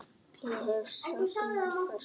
Ég hef saknað þess.